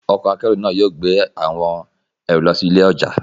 Ọkọ̀ akẹ́rù náà yóò gbé àwọn ẹrù lọ sí ilé ọjà.